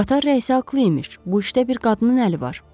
Qatar rəisi aqlı imiş, bu işdə bir qadının əli var.